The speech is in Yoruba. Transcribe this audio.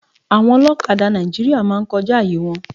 Nigerian bike men always by pass